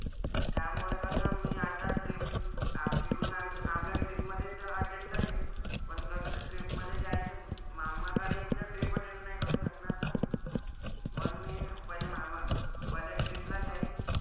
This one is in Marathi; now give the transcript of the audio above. त्यामुळे कसं मी आता trip आप इकडून आम्ही आपल्या trip मधेच attend करीन. पण कसं trip मधे जाईल तर मामाकडे यांचं trip attend नाही करू शकणार ना . म्हणून मी पहिलं मामा पहिले trip ला जाईल,